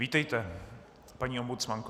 Vítejte, paní ombudsmanko.